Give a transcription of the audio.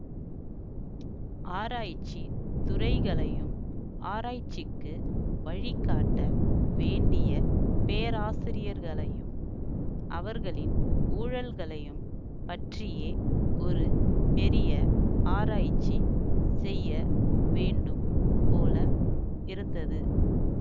ஆராய்ச்சி துறைகளையும் ஆராய்ச்சிக்கு வழிகாட்ட வேண்டிய பேராசிரியர்களையும் அவர்களின் ஊழல்களையும் பற்றியே ஒரு பெரிய ஆராய்ச்சி செய்ய வேண்டும் போல இருந்தது